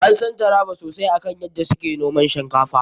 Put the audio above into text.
An san Taraba sosai akan yadda su ke noman shinkafa.